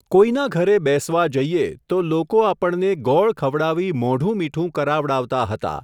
કોઈના ઘરે બેસવા જઈયે, તો લોકો આપણને ગોળ ખવડાવી મોઢું મીઠું કરાવડાવતા હતા.